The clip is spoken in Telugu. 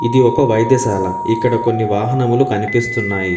ఇది ఒక వైద్యశాల. ఇక్కడ కొన్ని వాహనములు కనిపిస్తున్నాయి.